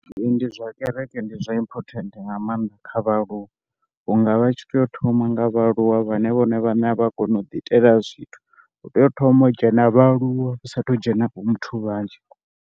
Ee zwa kereke ndi zwa important nga maanḓa kha vhaaluwa vhunga vha tshi tea u thoma nga vhaaluwa, vhane vhone vhane a vha koni u ḓi itela zwithu u tea u thoma u dzhena vhaaluwa hu sathu dzhena vho muthu vhanzhi.